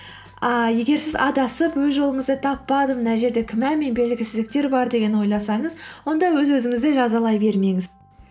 ыыы егер сіз адасып өз жолыңызды таппадым мына жерде күмән мен белгісіздіктер бар деген ойласаңыз онда өз өзіңізді жазалай бермеңіз